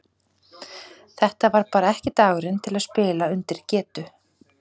Þetta var bara ekki dagurinn til að spila undir getu.